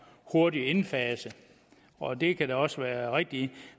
hurtigt indfaset og det kan da også være rigtigt